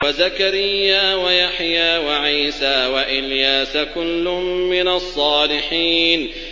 وَزَكَرِيَّا وَيَحْيَىٰ وَعِيسَىٰ وَإِلْيَاسَ ۖ كُلٌّ مِّنَ الصَّالِحِينَ